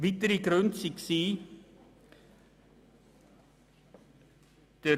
Folgende weitere Gründe lagen vor: